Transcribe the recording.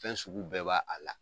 Fɛn sugu bɛɛ b'a a la.